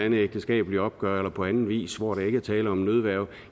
et ægteskabeligt opgør eller på anden vis hvor der ikke er tale om nødværge